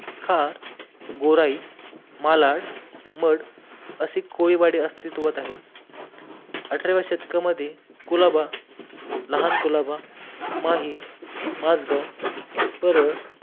खार, गोराइ, मालाड, मड अशी कोडीवाडी अस्तीत्वात आहे, अठराव्या शतकामध्ये कोलाबा, लहान कोलाबा, माहीम, माजगाव, परळ